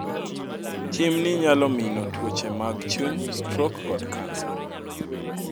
Tim ni nyalo mino twoche mag chuny, strok kod cancer